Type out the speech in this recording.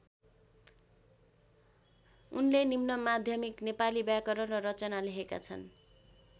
उनले निम्नमाध्यमिक नेपाली व्याकरण र रचना लेखेका छन्।